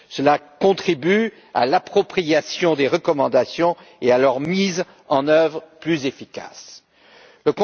Cela contribue à l'appropriation des recommandations et à une mise en œuvre plus efficace de celles ci.